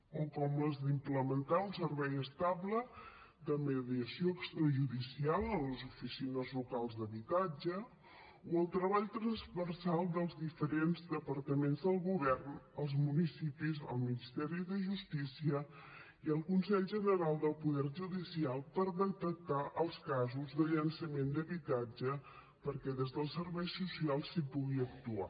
o com les d’implementar un servei estable de mediació extrajudicial en les oficines locals d’habitatge o el treball transversal dels diferents departaments del govern els municipis el ministeri de justícia i el consell general del poder judicial per detectar els casos de llançament d’habitatge perquè des dels serveis socials s’hi pugui actuar